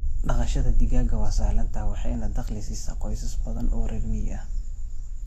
Dhaqashada digaaga waa sahlan tahay waxayna dakhli siisaa qoysas badan oo reer miyi ah.